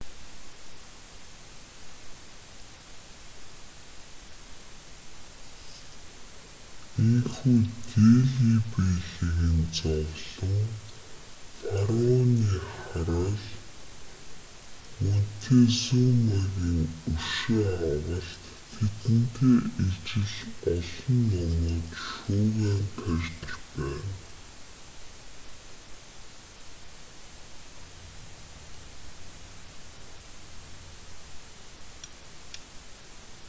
ийнхүү дели беллигийн зовлон фараоны хараал монтезумагийн өшөө авалт тэдэнтэй ижил олон номууд шуугиан тарьж байна